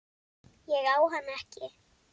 Ég á hana ekki.